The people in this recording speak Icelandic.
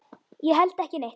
Ég held ekki neitt.